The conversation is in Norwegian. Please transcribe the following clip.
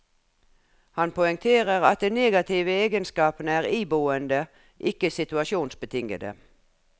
Han poengterer at de negative egenskapene er iboende, ikke situasjonsbetingede.